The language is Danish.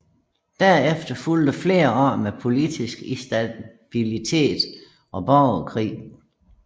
Derefter fulgte flere år med politisk instabilitet og borgerkrig